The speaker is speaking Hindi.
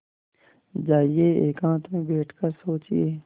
जाइए एकांत में बैठ कर सोचिए